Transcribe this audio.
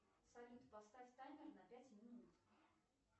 салют поставь таймер на пять минут